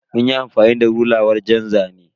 Munyi amfani da rula wajen zane.